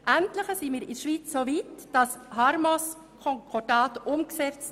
Endlich setzen wir das HarmoS-Konkordat um.